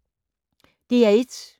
DR1